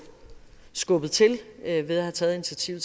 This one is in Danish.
skubbet til ved at have taget initiativ